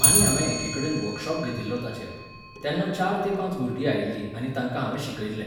आनी हांवें एकिकडेन वर्कशॉप घेतिल्लो ताचेर. तेन्ना चार ते पांच भुरगीं आयिल्ली आनी तांकां हांवें शिकयल्लें.